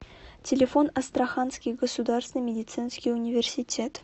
телефон астраханский государственный медицинский университет